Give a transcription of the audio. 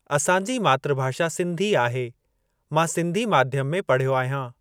असांजी मातृभाषा सिंधी आहे मां सिंधी माध्यम में पढ़यो आहियां।